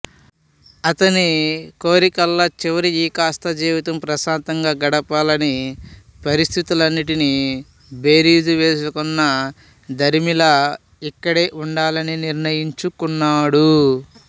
అతని కోరికల్ల చివరి ఈ కాస్త జీవితం ప్రశాంతంగా గడపాలని పరిస్థితులన్నిటినీ బేరీజు వేసుకున్న దరిమిలా ఇక్కడే ఉండాలని నిర్ణయించుకున్నాడు